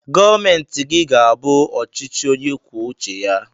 Gọọmeti gi ga abu ọchi chi onye kwụọ uche ya!!